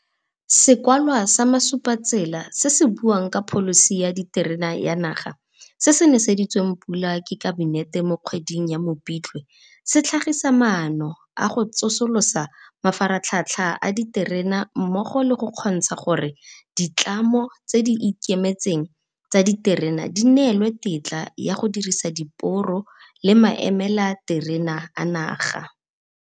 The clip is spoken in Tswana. Sekwalwa sa Masupatsela se se buang ka Pholisi ya Diterene ya Naga, se se neseditsweng pula ke Kabinete mo kgweding ya Mopitlwe, se tlhagisa maano a go tsosolosa mafaratlhatlha a diterene mmogo le go kgontsha gore ditlamo tse di ikemetseng tsa diterene di neelwe tetla ya go dirisa diporo le maemelaterene a naga.